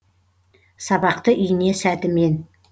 сабақты ине сәтімен